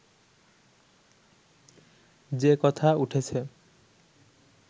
যে কথা উঠেছে